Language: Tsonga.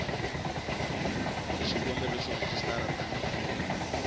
xikombelo xa ku rejistara tani